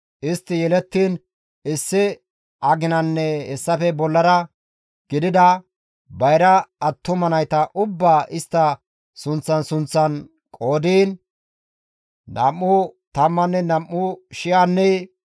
Istti yelettiin issi aginanne hessafe bollara gidida bayra attuma nayta ubbaa istta sunththan sunththan qoodiin istta qooday 22,273 gidides.